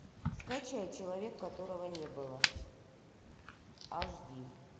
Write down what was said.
скачай человек которого не было аш ди